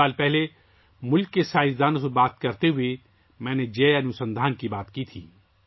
کچھ سال پہلے میں نے ملک کے سائنسدانوں سے بات کرتے ہوئے ، جئے انوسندھان کے بارے میں بات کی تھی